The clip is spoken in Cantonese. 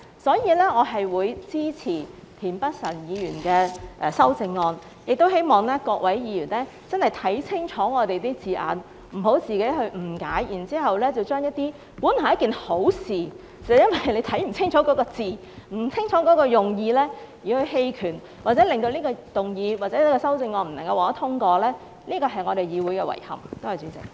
所以，我會支持田北辰議員的修正案，亦希望各位議員真的要看清楚我們的字眼，不要誤解原意，這本來是一件好事，只是因為自己沒有看清楚字眼、不清楚用意而選擇棄權，令這項議案或修正案未能通過，這是我們議會的遺憾。